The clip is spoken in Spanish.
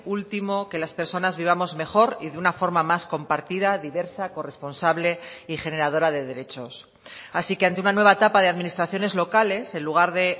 último que las personas vivamos mejor y de una forma más compartida diversa corresponsable y generadora de derechos así que ante una nueva etapa de administraciones locales en lugar de